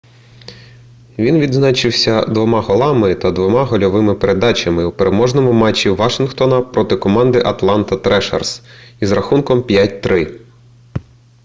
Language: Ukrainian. він відзначився 2 голами та 2 гольовими передачами у переможному матчі вашингтона проти команди атланта трешерс із рахунком 5:3